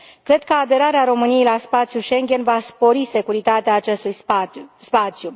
Cred că aderarea României la spațiul Schengen va spori securitatea acestui spațiu.